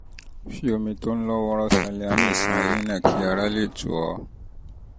fi omi tó ń lọ́ wọ́ọ́rọ́ salíanì ṣan eyín náà kí ara lè tù ọ́